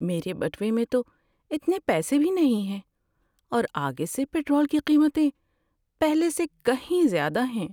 میرے بٹوے میں تو اتنے پیسے بھی نہیں ہیں اور آگے سے پٹرول کی قیمتیں پہلے سے کہیں زیادہ ہیں۔